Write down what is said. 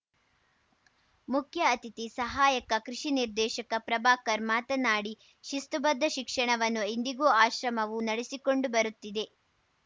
ಮುಖ್ಯ ಅತಿಥಿ ಸಹಾಯಕ ಕೃಷಿ ನಿರ್ದೇಶಕ ಪ್ರಭಾಕರ್‌ ಮಾತನಾಡಿ ಶಿಸ್ತುಬದ್ಧ ಶಿಕ್ಷಣವನ್ನು ಇಂದಿಗೂ ಆಶ್ರಮವು ನಡೆಸಿಕೊಂಡು ಬರುತ್ತಿದೆ